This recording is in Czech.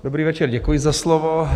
Dobrý večer, děkuji za slovo.